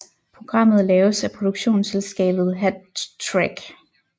Programmet laves af produktionsselskabet Hat Trick